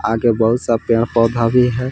आगे बहुत सा पेड़ पौधा भी है।